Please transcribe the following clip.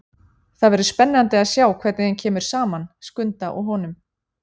Það verður spennandi að sjá hvernig þeim kemur saman, Skunda og honum.